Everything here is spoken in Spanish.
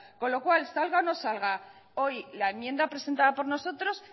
con lo cual salga o no salga hoy la enmienda presentada por nosotros